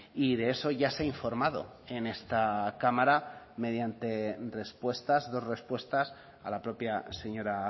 y de eso ya se ha informado en esta cámara mediante respuestas dos respuestas a la propia señora